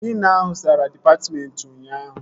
Klina ahụ zara dịpatmentị ụnyaahụ